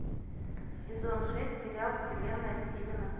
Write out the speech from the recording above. сезон шесть сериал вселенная стивена